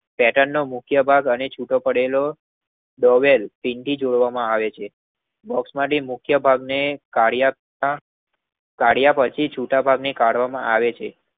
પેટનનો મુખ્ય ભાગ અને છૂટો પડેલો બોહવેલ પિન થી જોડવામાં આવે છે. બોક્ષમાંથી મુખ્ય ભાગને કાઢ્યા પછી છુટા ભાગની ભાગને કાઢવામાં આવે છે.